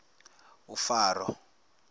faro